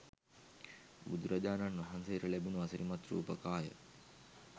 බුදුරජාණන් වහන්සේට ලැබුණු අසිරිමත් රූප කාය,